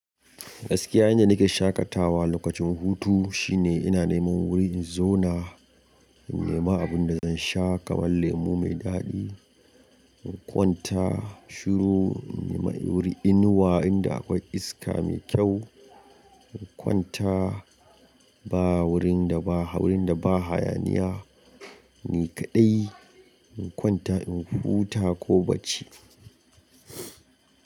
Gaskiya, yanda nake shaƙatawa lokacin hutu shine ina neman wuri in zauna, in nema abun da zan sha kamar lemu mai daɗi, in kwanta shiru, in nema wuri inuwa inda akwai iska mai kyau, in kwanta ba wurin da ba hau wurin da ba hayaniya ne kaɗai, in kwanta in huta ko bacci.